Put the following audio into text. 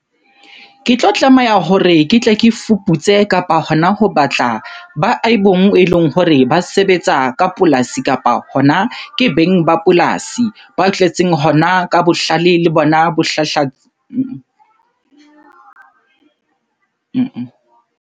Ke tlo tlameha hore ke tle ke fuputse kapa hona ho batla ba eleng hore ba sebetsa ka polasi kapa hona ke beng ba polasi, ba tletseng hona ka bohlale le bona bo .